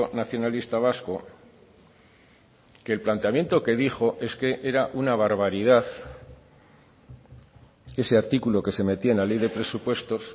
nacionalista vasco que el planteamiento que dijo es que era una barbaridad ese artículo que se metía en la ley de presupuestos